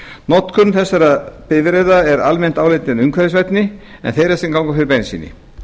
notkun þessara bifreiða er almennt álitin umhverfisvænni en þeirra sem ganga fyrir bensíni